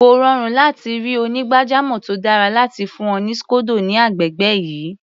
Kò rọrùn láti ri onígbàjamọ̀ tó dára láti fún ọ ní scodo ní agbègbè yìí.